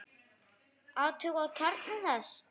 Athugað kjarna þess?